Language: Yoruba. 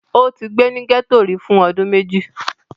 Ó ti gbé ní gẹ́tò rí fún ọdún méjì?